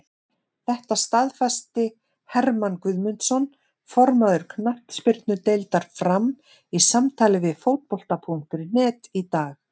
Þetta staðfesti Hermann Guðmundsson, formaður knattspyrnudeildar Fram, í samtali við Fótbolta.net í dag.